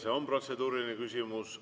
See on protseduuriline küsimus.